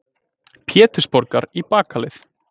Pétursborgar í bakaleið.